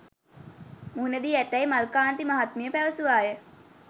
මුහුණදී ඇතැයි මල්කාන්ති මහත්මිය පැවසුවාය